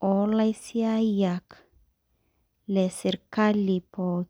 olaisiaiyiak lesirkali pookin.